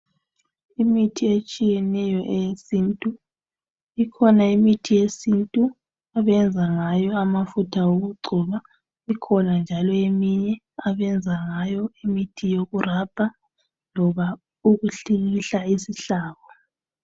Imithi etshiyeneyo eyesintu , ikhona imithi yesintu abayenza ngayo amafutha wokugcoba ikhona njalo eminye abayenza ngayo imithi yoku rubber loba ukuhlikihla isihlabo.